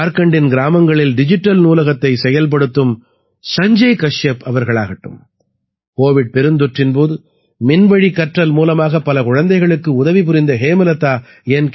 ஜார்க்கண்டின் கிராமங்களில் டிஜிட்டல் நூலகத்தைச் செயல்படுத்தும் சஞ்ஜய் கஷ்யப் அவர்களாகட்டும் கோவிட் பெருந்தொற்றின் போது மின்வழி கற்றல் மூலமாக பல குழந்தைகளுக்கு உதவி புரிந்த ஹேமலதா என்